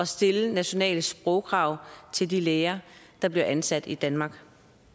stiller nationale sprogkrav til de læger der bliver ansat i danmark